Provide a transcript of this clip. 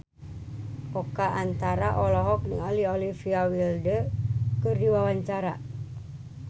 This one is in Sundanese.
Oka Antara olohok ningali Olivia Wilde keur diwawancara